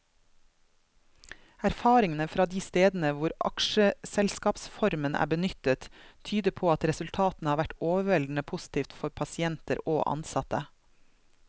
Erfaringene fra de stedene hvor aksjeselskapsformen er benyttet, tyder på at resultatene har vært overveldende positive for pasienter og ansatte.